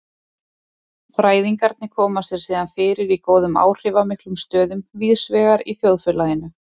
Fræðingarnir koma sér síðan fyrir í góðum áhrifamiklum stöðum víðsvegar í þjóðfélaginu.